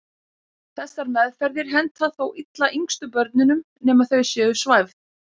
Þessar meðferðir henta þó illa yngstu börnunum nema þau séu svæfð.